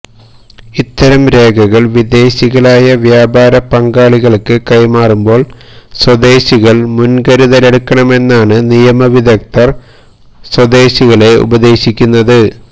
ഇത്തരം രേഖകള് വിദേശികളായ വ്യാപാര പങ്കാളികള്ക്ക് കൈമാറുമ്പോള് സ്വദേശികള് മുന്കരുതലെടുക്കണമെന്നാണ് നിയമ വിദഗ്ധര് സ്വദേശികളെ ഉപദേശിക്കുന്നത്